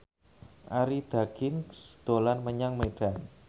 Arie Daginks dolan menyang Medan